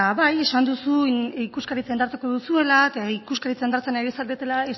bai esan duzu ikuskaritza indartuko duzuela eta ikuskaritza indartzen ari zaretela